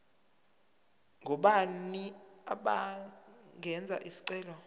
ngobani abangenza isicelo